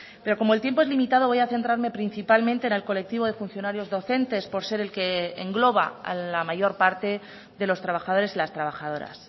pero como el tiempo es limitado voy a centrarme principalmente en el colectivo de funcionarios docentes por ser el que engloba a la mayor parte de los trabajadores y las trabajadoras